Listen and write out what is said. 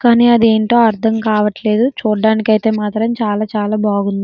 కానీ అదేంటో అర్థం కావట్లేదు చూడ్డానికి అయితే చాలా చాలా బాగుంది.